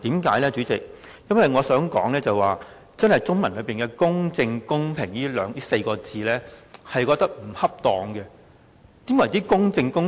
代理主席，我覺得中文的"公正公平"這4個字不恰當，甚麼是公正公平？